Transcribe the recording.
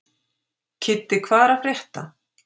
Kiddi, hvað er að frétta?